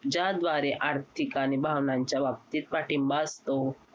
ज्याद्वारे आर्थिक आणि भावनांच्या बाबतीत पाठिंबा असतो.